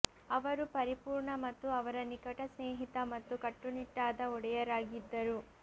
ಅವರು ಪರಿಪೂರ್ಣ ಮತ್ತು ಅವರ ನಿಕಟ ಸ್ನೇಹಿತ ಮತ್ತು ಕಟ್ಟುನಿಟ್ಟಾದ ಒಡೆಯರಾಗಿದ್ದರು